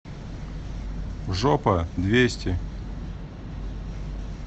жопа двести